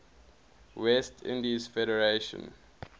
west indies federation